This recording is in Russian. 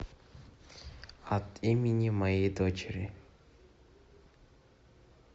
от имени моей дочери